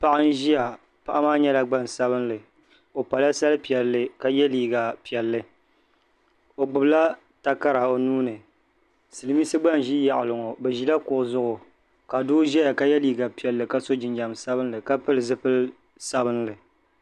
Paɣa n ʒia paɣa maa nyɛla gbansabili o pala sari piɛlli ka ye liiga piɛlli o gbibila takara o nuuni silimiinsi gba n ʒi taɣali ŋɔ bɛ ʒila kuɣu zuɣu ka doo ʒɛya ka ye liiga piɛlli ka so jinjiɛm sabinli ka pili zipil'sabinli.